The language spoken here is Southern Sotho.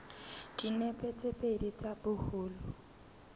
dinepe tse pedi tsa boholo